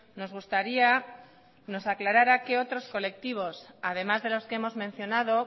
nos gustaría que nos aclarara qué otros colectivos además de los que hemos mencionado